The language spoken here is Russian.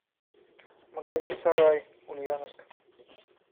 магазин сарай ульяновск